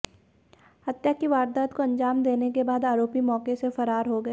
हत्या की वारदात को अंजाम देने के बाद आरोपी मौके से फरार हो गए